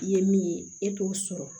I ye min ye e t'o sɔrɔ